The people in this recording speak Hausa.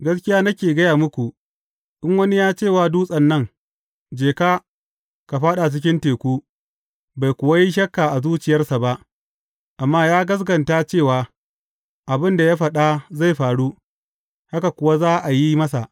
Gaskiya nake gaya muku, in wani ya ce wa dutsen nan, Je ka, ka fāɗa cikin teku,’ bai kuwa yi shakka a zuciyarsa ba, amma ya gaskata cewa, abin da ya faɗa zai faru, haka kuwa za a yi masa.